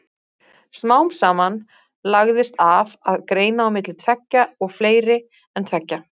Smám saman lagðist af að greina á milli tveggja og fleiri en tveggja.